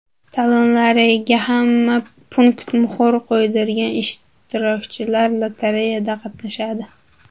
Talonlariga hamma punktda muhr qo‘ydirgan ishtirokchilar lotereyada qatnashadi.